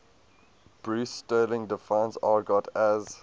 bruce sterling defines argot as